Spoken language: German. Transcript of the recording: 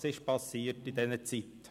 Was ist passiert in dieser Zeit?